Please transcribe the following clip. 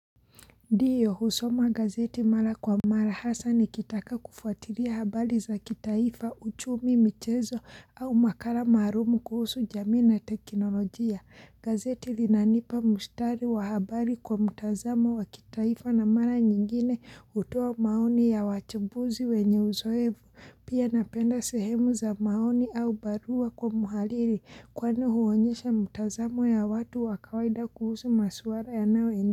Ndiyo, husoma gazeti mara kwa mara hasa nikitaka kufuatila habari za kitaifa, uchumi michezo au makala maalumu kuhusu jamii na teknolojia gazeti linanipa mushtari wa habari kwa mtazamo wa kitaifa na mara nyingine hutoa maoni ya wachambuzi wenye uzoefu pia napenda sehemu za maoni au barua kwa mhariri, kwani huonyesha mtazamo ya watu wa kawaida kuhusu maswala yanayo in.